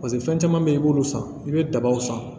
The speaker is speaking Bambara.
paseke fɛn caman be yen i b'olu san i be dabaw san